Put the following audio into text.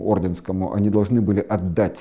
ордынскому они должны были от